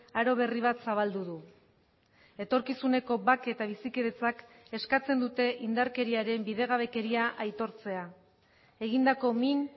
aro berri bat zabaldu du etorkizuneko bake eta bizikidetzak eskatzen dute indarkeriaren bidegabekeria aitortzea egindako min